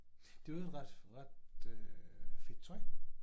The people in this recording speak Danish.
Det i øvrigt ret ret øh fedt tøj